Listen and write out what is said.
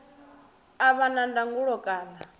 a vha na ndangulo kana